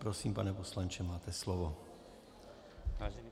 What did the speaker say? Prosím, pane poslanče, máte slovo.